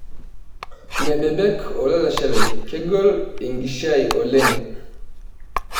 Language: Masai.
Mebebek olalashe lai kegol enkishiia oleng.